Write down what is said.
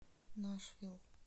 нашвилл